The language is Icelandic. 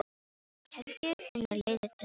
Helgi finnur leiðir til að senda